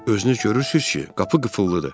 Özünüz görürsünüz ki, qapı qıfıllıdır.